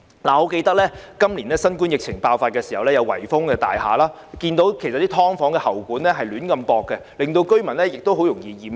我記得新冠疫情爆發時有大廈被圍封，看到"劏房"的喉管胡亂接駁，令居民很容易染疫。